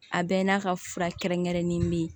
A bɛɛ n'a ka fura kɛrɛnkɛrɛnnen min